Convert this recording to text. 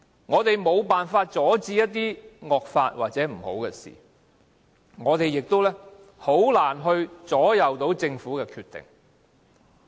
我們無法阻止一些惡法或不好的事，我們亦難以影響政府的決定。